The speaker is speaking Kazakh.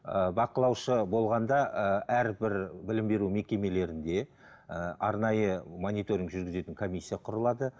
ыыы бақылаушы болғанда ыыы әрбір білім беру мекемелерінде ыыы арнайы мониторинг жүргізетін комиссия құрылады